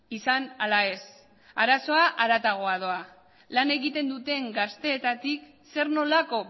izan ala ez arazoa haratago doa la egiten duten gazteetatik zer nolako